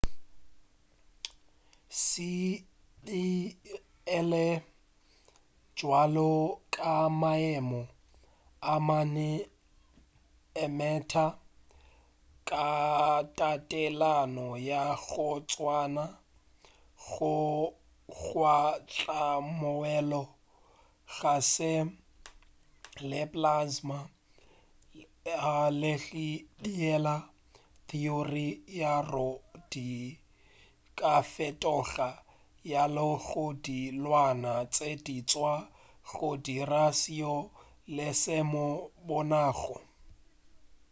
se e be e le bjalo ka maemo a mane a matter ka tatelano ya go tswana: go kgwahla moelo kgase le plasma le ge a beile theory ya gore di ka fetoga go ya go dilwana tše diswa go dira seo re se bonago